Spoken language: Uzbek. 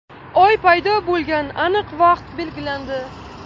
Oy paydo bo‘lgan aniq vaqt belgilandi.